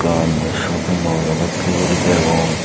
eban sopingmolo dokke guri degong.